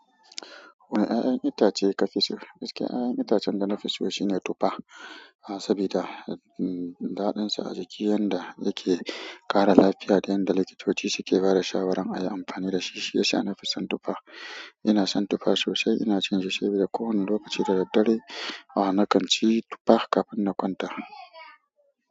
Wane ƴaƴan itace kafi so? Gaskiya ƴaƴan itacen da na fi so shine tufa. Ah sabi da, um, daɗin sa a jiki, yanda yake ƙara lafiya da yanda likitoci suke bada shawaran ayi amfani dashi, shi ya sa na fi son tufa. Inason tufa sosai ina cin shi, shi dai ko wani lokaci da daddare ah na kan ci tufa kafin na kwanta.